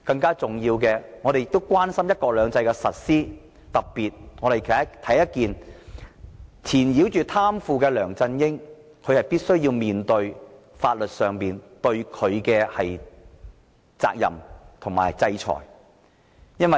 更重要的是，我們亦關心"一國兩制"的實施，特別是要貪腐的梁振英負上法律責任及接受制裁。